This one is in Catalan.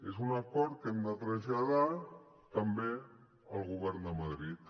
és un acord que hem de traslladar també al govern a madrid